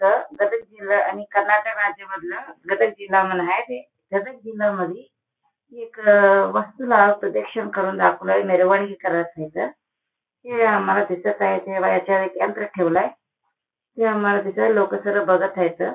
इथ गदग जिल्हा आणि कर्नाटक राज्य मधलं गदग जिल्हा म्हणून आहे ते गदग जिल्हयामद्धे एक अ वस्तूला प्रदीक्षणा करून दाखवल निर्वाणी करत हायत ते आम्हाला दिसत आहे ते बाहेरच एक यंत्र ठेवलंय ते आम्हाला दुसरे लोक बघत हायत.